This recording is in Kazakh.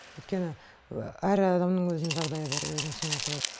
өйткені әр адамның өзінің жағдайы бар өзінің семьясы бар